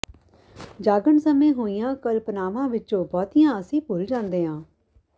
ਜਾਗਣ ਸਮੇਂ ਹੋਈਆਂ ਕਲਪਨਾਵਾਂ ਵਿੱਚੋਂ ਬਹੁਤੀਆਂ ਅਸੀਂ ਭੁੱਲ ਜਾਂਦੇ ਹਾਂ